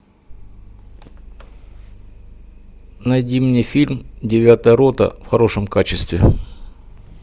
найди мне фильм девятая рота в хорошем качестве